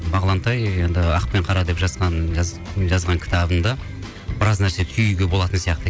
бағлантай енді ақ пен қара деп жазған кітабында біраз нәрсе түюге болатын сияқты